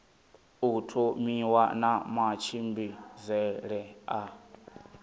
u thomiwa na matshimbidzele a